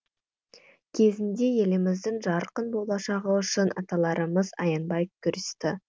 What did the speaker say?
кезінде еліміздің жарқын болашағы үшін аталарымыз аянбай күресті